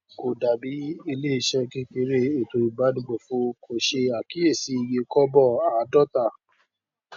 kò dàbí iléiṣẹ kékeré ètò ìbánigbófò kò ṣe àkíyèsí iye kọbọ àádọta